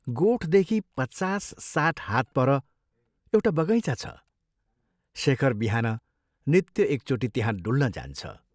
गोठदेखि पचास साठ हात पर एउटा बगैँचा छ शेखर बिहान नित्य एकचोटि त्यहाँ डुल्न जान्छ।